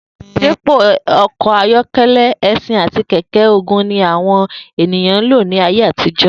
Dípò o̩kò̩ ayó̩ke̩lé̩, e̩s̩in àti kè̩ké̩-ogun ni àwo̩n èèyàn ń lò ní ayé àtijó̩